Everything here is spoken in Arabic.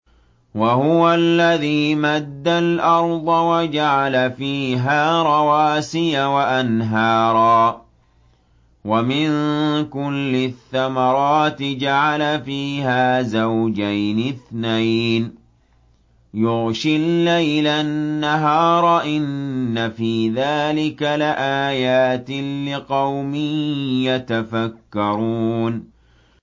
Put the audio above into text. وَهُوَ الَّذِي مَدَّ الْأَرْضَ وَجَعَلَ فِيهَا رَوَاسِيَ وَأَنْهَارًا ۖ وَمِن كُلِّ الثَّمَرَاتِ جَعَلَ فِيهَا زَوْجَيْنِ اثْنَيْنِ ۖ يُغْشِي اللَّيْلَ النَّهَارَ ۚ إِنَّ فِي ذَٰلِكَ لَآيَاتٍ لِّقَوْمٍ يَتَفَكَّرُونَ